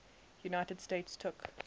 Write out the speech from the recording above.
united states took